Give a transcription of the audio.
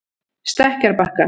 Stekkjarbakka